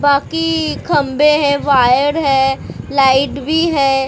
बाकी खंबे है वायर है लाइट भी है ।